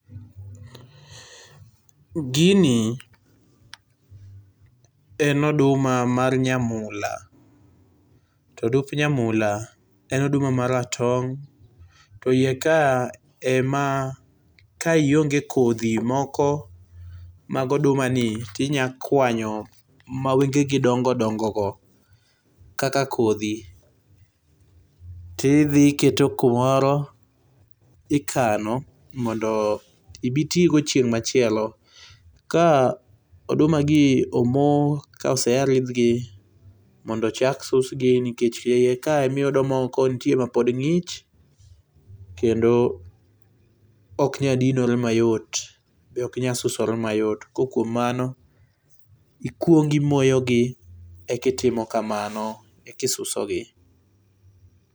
Gini en oduma mar nyamula to odumb nyamula en oduma ma ratong to e iye kae ka ionge kodhi moko mag oduma ni tinya kwanyo ma wengegi dongo dongo go kaka kodhi tidhi iketo kumoro ikano mondo ibi itigo chieng' machielo . Ka oduma gi omoo ka osea ridhgi mondo ochak susgi nikech iye kae ema iyudo moko mapod ngich kendo ok nyal dinore mayot bende ok nyal susore mayot ko kuom mano ikuong imoyogi eka itimo kamano eka isusogi